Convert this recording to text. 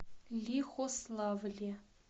лихославле